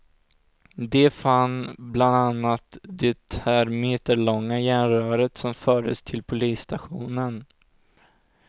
De fann bland annat det här meterlånga järnröret som fördes till polisstationen.